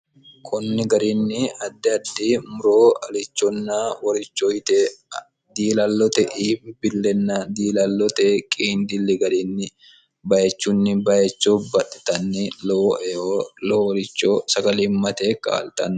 konni garinni addi addi muroo alichonna woricho yite diilallote iibillenna diilallote qiindilli garinni bayichunni bayicho baxxitanni lowo eo lowoworicho sagalimmate kaa'ltanno